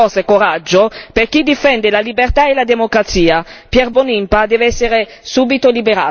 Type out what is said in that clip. Serve un segnale forte, di speranza, forza e coraggio per chi difende la libertà e la democrazia.